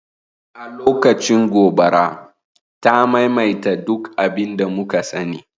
A lokacin kashe gobara, ta maimaita duk abin da muka sani